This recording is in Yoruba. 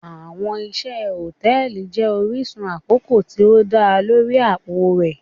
Awọn iṣẹ hòtẹ́ẹ̀lì jẹ orisun akoko ti o da lori apo rẹ.